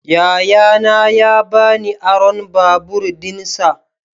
Yayana ya ba ni aron babur dinsa.